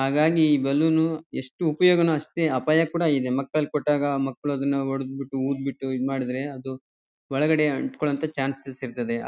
ಹಾಗಾಗಿ ಈ ಬಲೂನ್ ಎಷ್ಟ್ ಉಪಯೋಗನೂ ಅಷ್ಟೇ ಅಪಾಯ ಕೂಡ ಇದೆ. ಮಕ್ಕಳ್ ಕೊಟ್ಟಾಗ ಮಕ್ಕಳ್ ಅದನ್ನ ಹೊಡಿದ್ ಬಿಟ್ಟು ಊದ್ಬಿಟ್ಟು ಇದ್ಮಾಡುದ್ರೆ ಅದು ಒಳಗಡೆ ಅಂಟಿಕೊಳ್ಳೊ ಅಂತ ಚಾನ್ಸಸ್ ಇರ್ತದೆ--